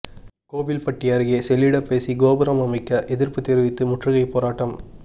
கோவில்பட்டி அருகே செல்லிடப்பேசி கோபுரம் அமைக்க எதிா்ப்பு தெரிவித்து முற்றுகை போராட்டம்